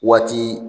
Waati